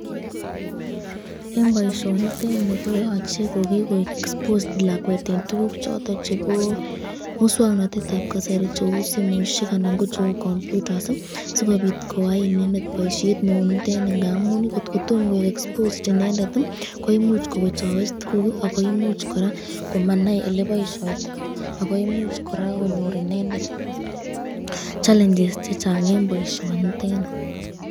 En boishonitet nii koyoche ko kii koik exposed lakwet en tukuk choton chebo muswoknotetab kasari cheuu simoishek anan ko cheuu kompyutas sikobit koyai inendet boishet neunitet neuu nii, ndamun ng'ot kotom koik exposed inendet ko imuuch kowechowech ak ko imuuch kora komanai eleboishoitoi ak ko imuuch kora konyoe inendet challenges chechang en boishonitet nii.